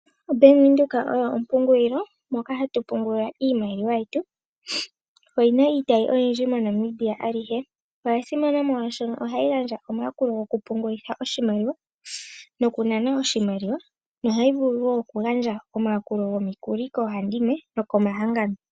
OBank Windhoek oyo ompungulilo moka hatu pungula iimaliwa yetu. Oyi na iitayi oyindji moNamibia alihe. Oya simana molwaashoka ohayi gandja omayakulo gokupungulitha oshimaliwa nokunana nohayi vulu okugandja omayalulo gomikuli koohandimwe nokomahangano.